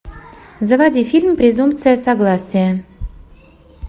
заводи фильм презумпция согласия